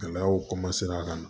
Gɛlɛyaw ka na